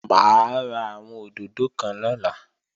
Mà á ra àwọn òdòdó kan lọ́la